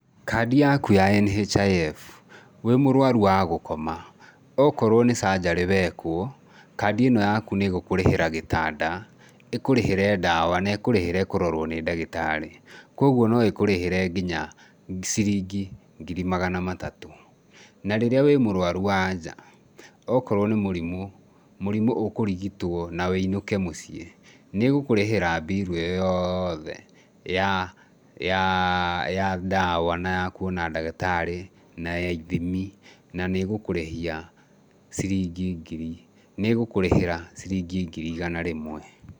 Kandi yaku ya NHIF, wĩ mũrũaru wa gũkoma, okorwo nĩ surgery wekwo, kandi ĩno yaku nĩ ĩgũkũrĩhĩra gĩtanda, ĩkũrĩhĩre ndawa na ĩkũrĩhĩre kũrorwo nĩ ndagĩtarĩ, kwoguo no ĩkũrĩhĩre nginya ciringi ngiri magana matatũ. Na rĩrĩa wĩ mũrũaru wa nja okorwo nĩ mũrimũ, mũrimũ ũkũrigitwo na wũinũke mũciĩ, nĩ ĩgũkũrĩhĩra mbiru ĩyo yothe ya ya ya ndawa, na ya kũona ndagĩtarĩ, na ya ithimi na nĩ ĩgũkũrĩhia ciringi ngiri, nĩ ĩgũkũrĩhĩra ciringi ngiri igana rĩmwe.